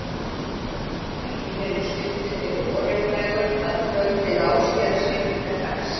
Ekki fyrr en stuttu fyrir vorjafndægur, að kvöldi lágskýjaðs rigningardags.